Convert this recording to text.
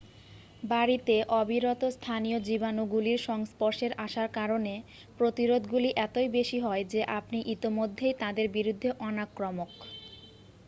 বাড়িতে অবিরত স্থানীয় জীবাণুগুলির সংস্পর্শের আসার কারণে প্রতিরোধগুলি এতই বেশি হয় যে আপনি ইতিমধ্যেই তাদের বিরুদ্ধে অনাক্রমক